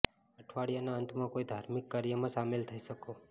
અઠવાડિયાના અંતમાં કોઈ ધાર્મિક કાર્યમાં શામેલ થઈ શકો